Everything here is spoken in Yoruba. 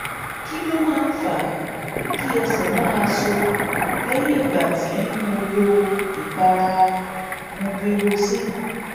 kí ló máa ń fa kí ẹsẹ̀ máa so lẹ́yìn ìgbà tí tí mo lo ìpara mupirocin?